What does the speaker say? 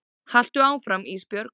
Haltu áfram Ísbjörg.